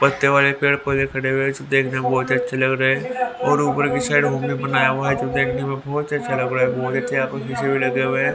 पक्के वाले पेड़ पौधे खड़े हुए है जो देखने में बहोत अच्छे लग रहे और ऊपर की ओर साइड बनाया हुआ है जो देखने में बहोत ही अच्छे लग रहा एक ठे यहां पर भी लगा हुआ है।